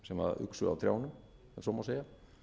sem uxu á trjánum ef svo má segja